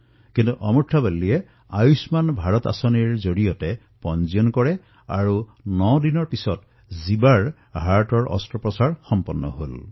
অমুৰ্থা ৱল্লীয়ে আয়ুষ্মান ভাৰতত নিজৰ সন্তানৰ পঞ্জীয়ন কৰালে আৰু ৯ দিনৰ পিছতে জীৱাৰ হৃদয়ৰ অস্ত্ৰোপচাৰো সম্পন্ন হল